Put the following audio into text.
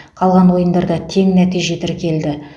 қалған ойындарда тең нәтиже тіркелді